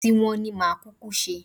Ti wọn ni màá kúkú ṣe